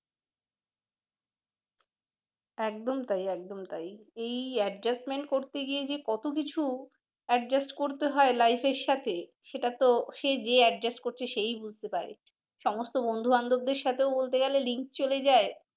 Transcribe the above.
একদম তাই একদম তাই এই adjustment করতে গিয়ে যে কত কিছু adjust করতে হয় life এর সাথে সেটা তো যে adjust করছে সেই বুঝতে পারে সমস্ত বন্ধু বান্ধবদের সাথেও বলতে গেলে link চলে যায়